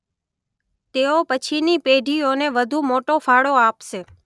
તેઓ પછીની પેઢીઓને વધુ મોટો ફાળો આપશે.